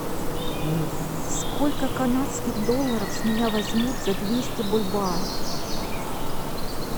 сколько канадских долларов с меня возьмут за двести бальбоа